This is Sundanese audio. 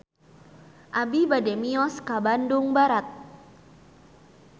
Abi bade mios ka Bandung Barat